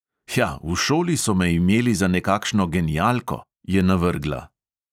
"Hja, v šoli so me imeli za nekakšno genialko," je navrgla.